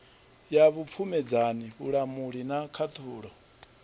ya vhupfumedzani vhulamuli na khaṱhulo